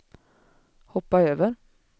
hoppa över